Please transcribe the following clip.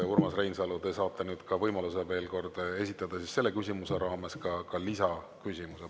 Urmas Reinsalu, te saate nüüd võimaluse selle teema raames veel kord küsida, esitades ka lisaküsimuse.